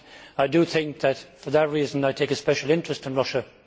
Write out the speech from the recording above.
I think it is for that reason I take a special interest in Russia.